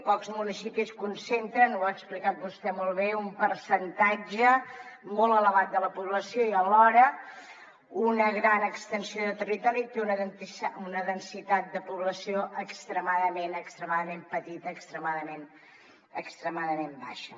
pocs municipis concentren ho ha explicat vostè molt bé un percentatge molt elevat de la població i alhora una gran extensió de territori té una densitat de població extremadament petita extremadament baixa